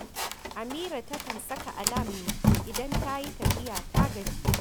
Amira takan saka alam ne idan ta yi tafiya, ta gaji